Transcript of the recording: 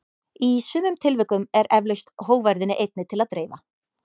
Í sumum tilvikum er eflaust hógværðinni einni til að dreifa.